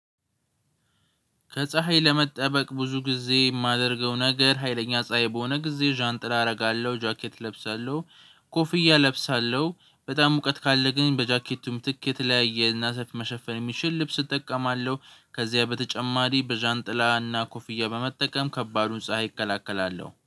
ከፀሀይ ለመጠበቅ ብዙ ጊዜ የማደርገው ነገር ሀይለኛ ፀሀይ በሆነ ጊዜ ዣንጥላ አደርጋለሁ ጃኬት እለብሳለሁ ኮፍያ እለብሳለሁ። በጣም ሙቀት ካለ ግን በጃኬቱ ምትክ የተለያየ አና ሰፊ መሸፈን የሚችል ልብስ እጠቀማለሁ ከዚያ በተጨማሪ በዣንጥላና ኮፍያ በመጠቀም ከባዱን ፀሀይ እከላከላለሁ።